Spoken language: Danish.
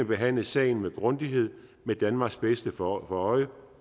behandle sagen med grundighed med danmarks bedste for øje